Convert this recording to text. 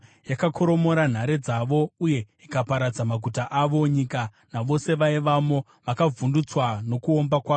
Yakakoromora nhare dzavo uye ikaparadza maguta avo. Nyika navose vaivamo vakavhundutswa nokuomba kwayo.